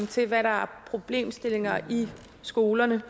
til hvad der er af problemstillinger i skolerne